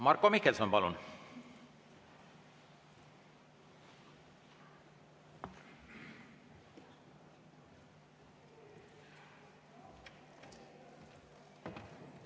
Marko Mihkelson, palun!